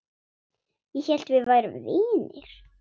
Ég hélt við værum vinir.